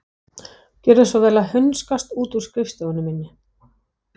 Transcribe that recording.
Gjörðu þá svo vel að hunskast út af skrifstofunni minni.